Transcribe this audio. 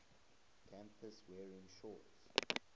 campus wearing shorts